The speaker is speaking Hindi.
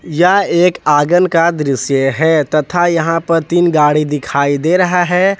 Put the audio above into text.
यह एक आंगन का दृश्य है तथा यहां पर तीन गाड़ी दिखाई दे रहा है।